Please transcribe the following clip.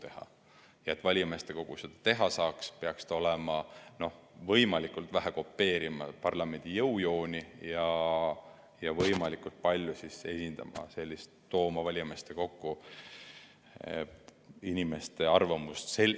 Et aga valijameeste kogu seda teha saaks, peaks ta võimalikult vähe kopeerima parlamendi jõujooni ja võimalikult palju tooma valijameeste kokku inimeste arvamust.